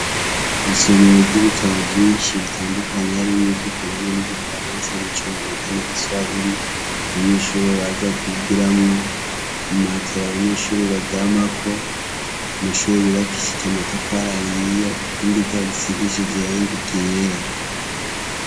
ibisomero by'ibitabo byinshi bitandukanye hari mwo ivyikirundi ni n'igifaransa n'icyongereze n'igiswahili abanyeshuri baza kwigira mu matera abanyeshuri baryama ko amashuri yubakishije amatafara ahiye hasigishije irangi ryera